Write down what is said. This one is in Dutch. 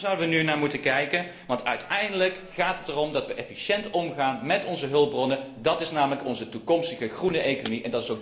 Daar zouden we nu naar moeten kijken, want uiteindelijk gaat het erom dat we efficiënt omgaan met onze hulpbronnen, dat is namelijk onze toekomstige groene economie.